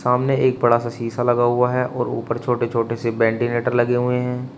सामने एक बड़ा सा शीशा लगा हुआ है और ऊपर छोटे छोटे से वेंटिलेटर लगे हुए हैं।